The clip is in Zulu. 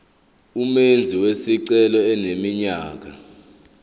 umenzi wesicelo eneminyaka